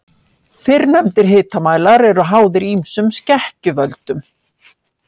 Fyrrnefndir hitamælar eru háðir ýmsum skekkjuvöldum.